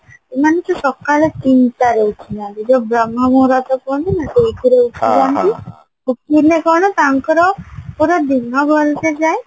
ଏମାନେ ବି ସକାଳ ତିନିଟାରେ ଉଠିନାହାନ୍ତି ଯଉ ବ୍ରହ୍ମା କୁହନ୍ତିନି ସେଇଥିରେ ଉଠିଲେ କଣ ତାଙ୍କର ଦିନ ଭଲସେ ଯାଏ